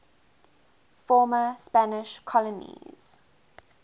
former spanish colonies